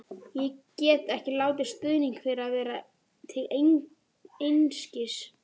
Ég get ekki látið stuðning þeirra verða til einskis.